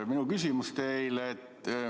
Mu küsimus teile.